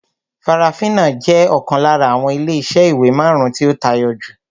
Farafina jẹ́ ọ̀kan lára àwọn ilé iṣẹ́ ìwé marun-un tí ó tayọ jù